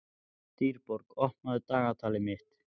Dýrborg, opnaðu dagatalið mitt.